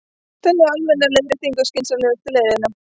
Telja almenna leiðréttingu skynsamlegustu leiðina